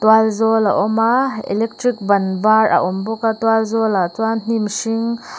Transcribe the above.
tual zawl a awm a electric ban var a awm bawk a tual zawl ah chuan hnim hring--